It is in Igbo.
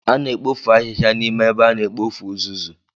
A na-ekpofu ahịhịa n'ime ebe a na-ekpofu uzuzu.